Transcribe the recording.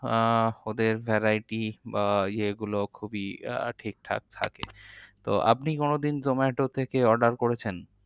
আহ ওদের variety বা ইয়ে গুলো খুবই আহ ঠিকঠাক থাকে তো আপনি কোনোদিন zomato থেকে order করেছেন?